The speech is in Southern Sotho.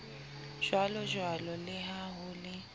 jwalojwalo le ha ho le